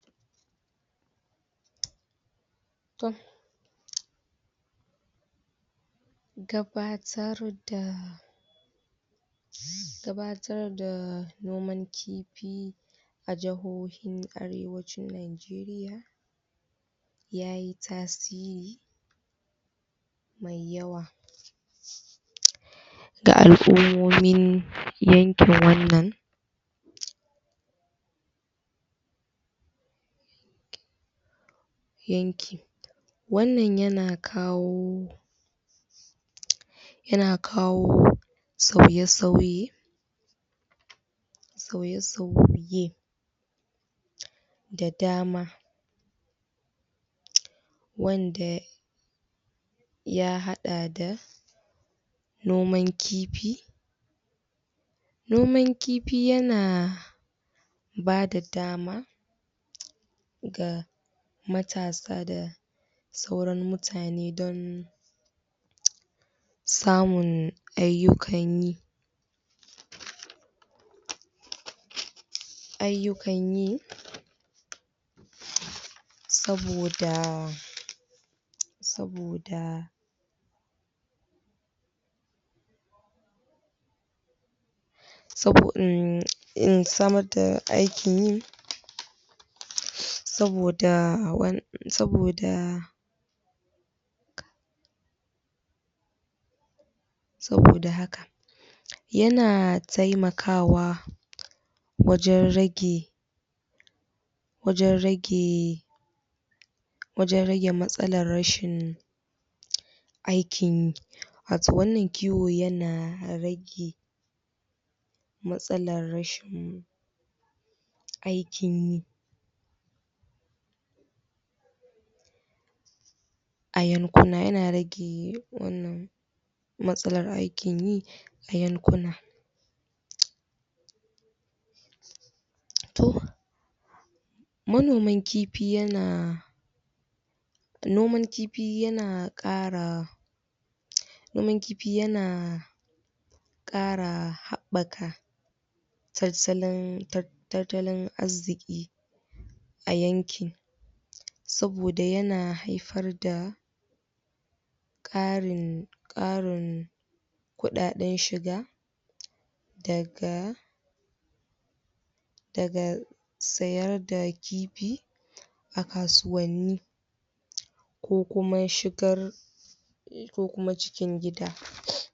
gabatar da gabatar da noman kifi a jahohin arewa yayi tasiri da yawa ga al'immomin yakin wannan yanki wannan yana kawo yana kawo sauye sauye sauye sauye da dama wanda ya hada da noman kifi noman kifi yana bada dama ga matasa da sauran mutane don samun ayukanyi ayukan yi saboda saboda saboda samar da aikinyi saboda wan saboda haka yana taimakawa wajen rage wajen rage wajen rage matsalar rashin aikin yi wato wannan kiwo yana rage matsalar rashin aikinyi a yankuna yana rage wannan matsalar aikin yi a yankuna to manoman kifi yana noman kifi yana kara noman kifi yana kara habaka tattalin zarziki a yanki saboda yana haifar da kari karin kudaden shiga daga daga sayarda kifi a kasuwanni ko kuma shigar ko kuma cikin gida